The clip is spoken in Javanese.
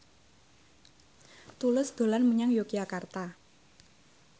Tulus dolan menyang Yogyakarta